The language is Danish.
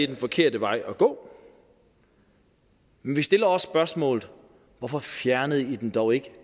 den forkerte vej at gå men vi stiller også spørgsmålet hvorfor fjernede i den dog ikke